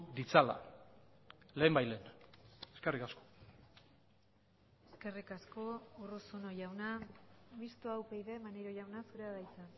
ditzala lehenbailehen eskerrik asko eskerrik asko urruzuno jauna mistoa upyd maneiro jauna zurea da hitza